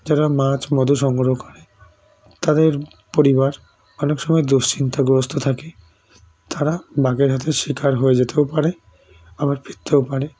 যারা মাছ মধু সংগ্রহ করে তাদের পরিবার অনেক সময় দুশ্চিন্তার গ্রস্ত থাকে তারা বাঘের হাতে শীকার হয়ে জেতে ও পারে আবার ফিরতে ও পারে